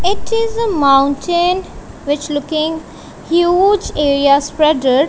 It is a mountain which looking huge area spreaded.